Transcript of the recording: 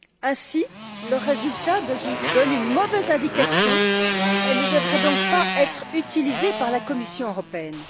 Ainsi, le résultat donne une mauvaise indication et ne devrait donc pas être utilisé par la Commission européenne.